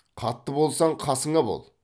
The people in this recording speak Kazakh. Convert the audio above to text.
қатты болсаң қасыңа бол